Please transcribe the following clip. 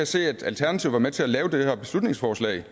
se at alternativet var med til at lave det her beslutningsforslag